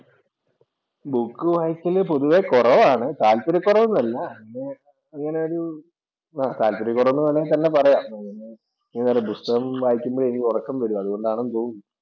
Book വായിക്കൽ പൊതുവേ കുറവാണ്. താല്പര്യകൊറവൊന്നുമല്ല. പിന്നെ അങ്ങനെയൊരു താല്പര്യം കുറവെന്ന് തന്നെ വേണമെങ്കിൽ പറയാം. പിന്നെ പുസ്തകം വായിക്കുമ്പോൾ എനിക്ക് ഉറക്കം വരും. അതുകൊണ്ടാണെന്ന് തോന്നുന്നു.